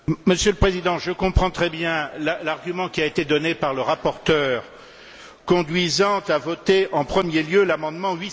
Monsieur le Président, je comprends très bien l'argument qui a été donné par le rapporteur, conduisant à voter en premier lieu l'amendement